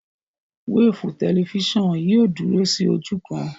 Wéèfù tẹlifísàn yìí ò dúró sí ojú kan